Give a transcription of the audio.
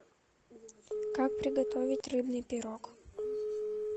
как приготовить рыбный пирог